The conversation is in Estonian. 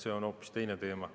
See on hoopis teine teema.